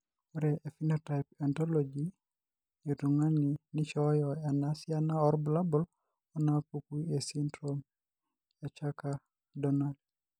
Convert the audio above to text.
Ore ephenotype ontology etung'ani neishooyo enasiana oorbulabul onaapuku esindirom eThakker Donnai.